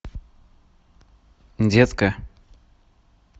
детка